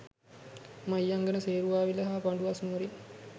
මහියංගණය, සේරුවාවිල හා පඬුවස් නුවරින්